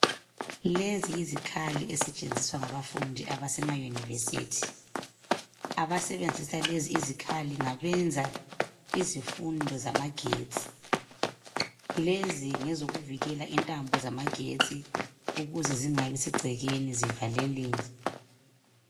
Lezi yizikhali ezisetshenziswa ngabafundi abasema university abasebenzisa lezi izikhali ngabenza izifundo zamagetsi lezi ngezokuvikela intambo zamagetsi ukuze zingabi segcekeni zivaleleke.